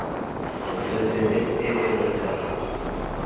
porofense le e e bontshang